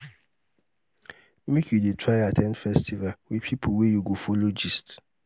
make you try dey at ten d festival wit pipo wey you go folo gist.